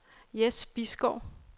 Jess Bisgaard